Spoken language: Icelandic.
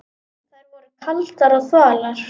Þær voru kaldar og þvalar.